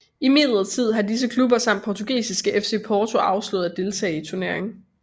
Imidlertid har disse klubber samt portugisiske FC Porto afslået at deltage i turneringen